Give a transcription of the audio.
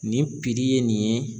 Nin ye nin ye.